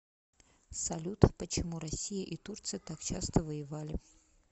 салют почему россия и турция так часто воевали